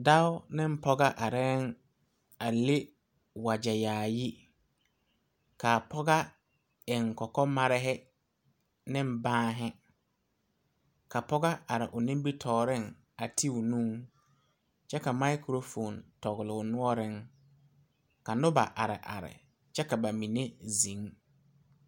Dɔɔ ne pɔgɔ areŋ a leŋ wagyɛ yaayi, kaa pɔgɔ eŋ kɔkɔmare ne banne, ka pɔgɔ are o nimitɔreŋ a ti o nuuŋ kyɛ ka microphone tɔgele o noɔreŋ ka noba are are kyɛ ka ba mine zeŋ.